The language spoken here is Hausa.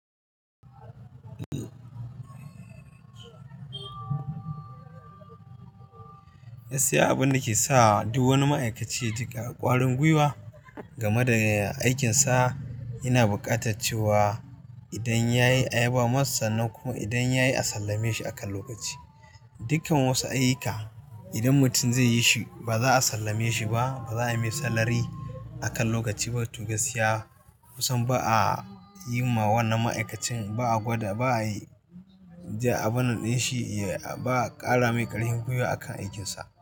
Gaskiya abun dake sa duk wani ma'aikaci ya ji kwarin gwiwa game da aikinsa yana buƙata cewa idan ya yi ayaba masa sannan kuma idan ya yi a sallame shi akan lokaci. Dukkan wasu ayuka idan mutum zai yi shi ba za a sallame shi ba, ba za a yi masa salary akan lokaci ba. To gaskiya, musam ba a yi wa wannan ma'aikacin, ba a gwada, ba a yi, ba a banɗa shi, ba a ƙara mai ƙarfin gwiwa akan aikinsa.